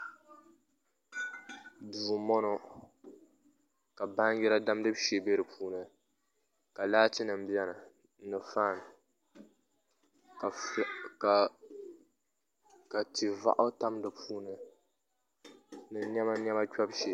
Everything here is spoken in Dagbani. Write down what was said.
Duu n bɔŋɔ ka baanjira damgibu shee bɛ di puuni ka laati nim biɛni ni faan ka tia vaɣu tam di puuni ni niɛma niɛma kpɛbu shee